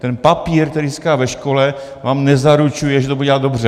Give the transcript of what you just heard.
Ten papír, který získá ve škole, vám nezaručuje, že to bude dělat dobře.